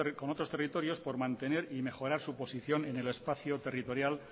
con otros territorios por mantener y mejorar su posición en el espacio territorial